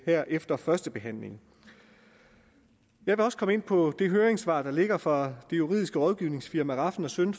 her efter første behandling jeg vil også komme ind på det høringssvar der ligger fra det juridiske rådgivningsfirma rafn søn